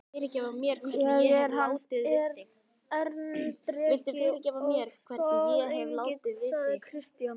Ég er hans erindreki og staðgengill, sagði Christian.